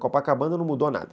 Copacabana não mudou nada.